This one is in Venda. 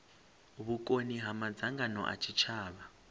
vhukoni ha madzangano a tshitshavha